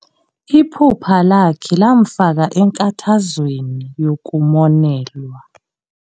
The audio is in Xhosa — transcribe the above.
Iphupha lakhe lamfaka enkathazweni yokumonelwa.